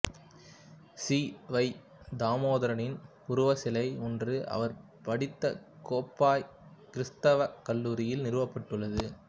C வை தாமோதரனாரின் உருவச்சிலை ஒன்று அவர் படித்த கோப்பாய் கிறித்தவக் கல்லூரியில் நிறுவப்பட்டுள்ளது